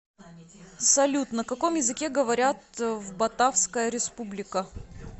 салют на каком языке говорят в батавская республика